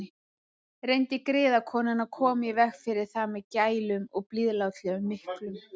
Reyndi griðkonan að koma í veg fyrir það með gælum og blíðulátum miklum.